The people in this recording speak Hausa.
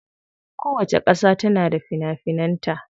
Kowacce kasa tana da fina finan ta.